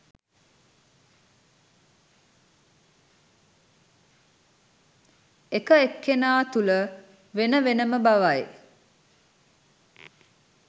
එකඑක්කෙනා තුළ වෙන වෙන ම බවයි.